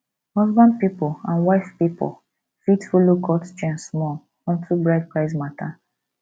husband pipol and wife pipol fit follow cut chain small onto bride price mata